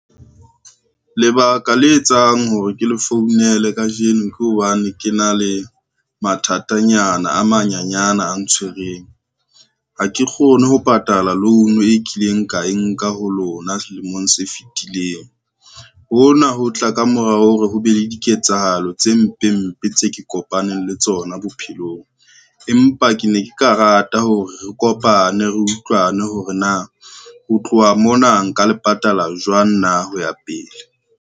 Lebaka le etsang hore ke le founele kajeno ke hobane ke na le mathatanyana a manyenyane a ntshwereng, ha ke kgone ho patala loan e kileng ka e nka ho lona selemong se fitileng. Hona ho tla ka morao hore ho be le diketsahalo tse mpe mpe tse ke kopaneng le tsona bophelong, empa ke ne ke ka rata hore re kopane re utlwane hore na ho tloha mona nka le patala jwang na ho ya pele.